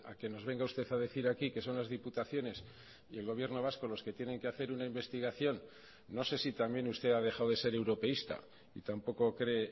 que nos venga usted a decir aquí que son las diputaciones y el gobierno vasco los que tienen que hacer una investigación no sé si también usted ha dejado de ser europeísta y tampoco cree